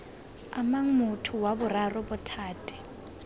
amang motho wa boraro bothati